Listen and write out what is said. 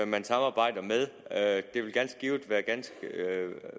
man samarbejder med at det ganske givet vil være